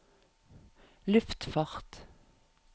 luftfart